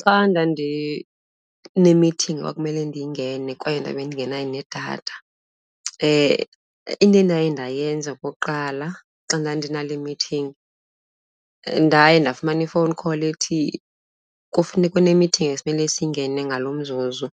Xa ndandinemithingi ekwakumele ndiyingene kwaye ndabe ndingenayo nedatha, into endaye ndayenza okokuqala xa ndandinale mithingi, ndaye ndafumana i-phone call ethi kufuneka unemithingi esimele siyingene ngalo mzuzu.